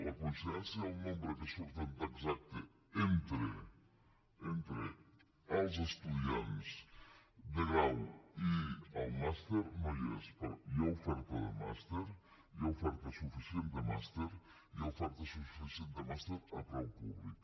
la coincidència del nombre que surt exacte entre els estudiants de grau i el màster no hi és però hi ha oferta de màster hi ha oferta suficient de màster i hi ha oferta suficient de màster a preu públic